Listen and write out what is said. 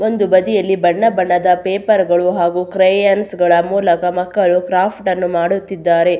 ಒಂದು ಬದಿಯಲ್ಲಿ ಬಣ್ಣ ಬಣ್ಣದ ಪೇಪರ್ ಗಳು ಹಾಗು ಕ್ರಯೊನ್ಸ್ ಗಳ ಮೂಲಕ ಮಕ್ಕಳು ಕ್ರಾಫ್ಟ್ ಅನ್ನು ಮಾಡುತ್ತಿದ್ದಾರೆ.